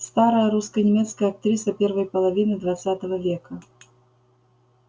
старая русско-немецкая актриса первой половины двадцатого века